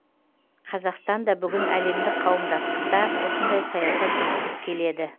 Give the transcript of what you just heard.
қазақстан да бүгін әлемдік қауымдастықта осындай саясат жүргізіп келеді